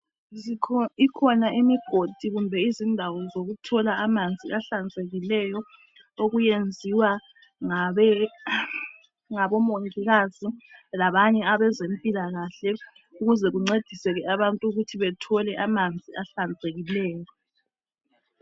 Ikhona imigodi kumbe indawo zokuthola amanzi ahlanzekileyo okuyenziwa ngabe ngabomongikazi labanye abezempilakahle ukuze kuncediseke abantu ukuthi bethole amanzi ahlanzekileyo